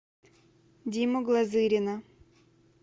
диму глазырина